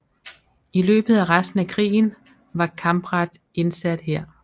I løbet af resten af krigen var Campradt indsat her